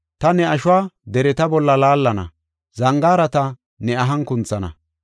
Ta ne ashuwa dereta bolla laallana; zangaarata ne ahan kunthana.